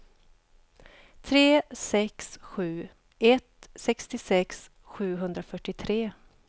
tre sex sju ett sextiosex sjuhundrafyrtiotre